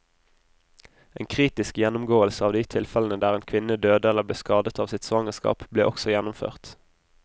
En kritisk gjennomgåelse av de tilfellene der en kvinne døde eller ble skadet av sitt svangerskap, ble også gjennomført.